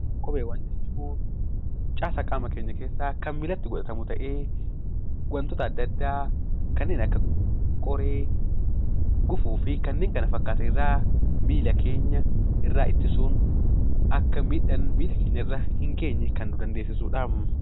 Kopheewwan jechuun caasaa qaama keenyaa keessaa kan miillatti godhatamu ta'ee wantoota adda addaa kanneen akka qoree, gufuu fi wantoota kana fakkaatan irraa miilla keenya ittisuuf akka miidhaan miilla keenyarra hin geenye ittisudha.